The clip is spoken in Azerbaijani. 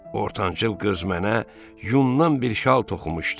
Ortancıl qız mənə yundan bir şal toxumuşdu.